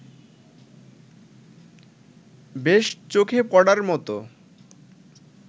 বেশ চোখে পড়ার মতো